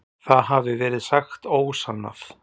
Það hafi verið sagt ósannað.